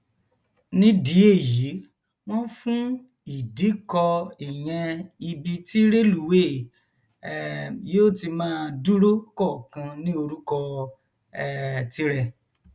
nídìí èyí wọn fún ìdíkọ ìyẹn ibi tí rélùwéè um yóò ti máa dúró kọọkan ní orúkọ um tirẹ